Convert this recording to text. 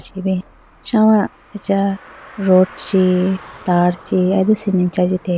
shawa acha rod chi tar chi alido cement chi ajitelayi bo.